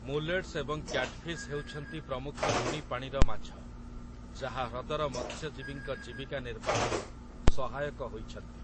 Mullets ଏବଂ catfish ହେଉଛନ୍ତି ପ୍ରମୁଖ ଲୁଣି ପାଣିର ମାଛ, ଯାହା ହ୍ରଦର ମତ୍ସ୍ୟଜୀବୀଙ୍କ ଜୀବିକା ନିର୍ବାହରେ ସହାୟକ ହୋଇଛନ୍ତି ।